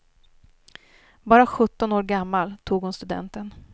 Bara sjutton år gammal tog hon studenten.